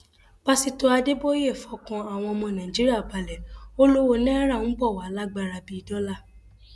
pásítọ adéboye fọkàn àwọn ọmọ nàìjíríà balẹ ò lọwọ náírà ń bọ wàá lágbára bíi dọlà